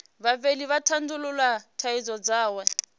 vhavhili vha tandulula thaidzo dzavho